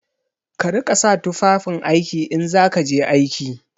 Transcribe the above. Ka riƙa sa tufafin aiki in za ka je aiki!